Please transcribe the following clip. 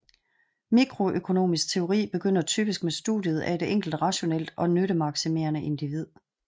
Mikroøkonomisk teori begynder typisk med studiet af et enkelt rationelt og nyttemaksimerende individ